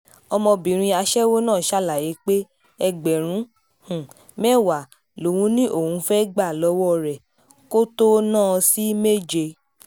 ọmọbìnrin aṣẹ́wó náà ṣàlàyé pé ẹgbẹ̀rún um mẹ́wàá lòun ní òun fẹ́ẹ́ gbà lọ́wọ́ rẹ̀ kó tóó um ná an sí méje